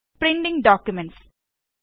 printing documents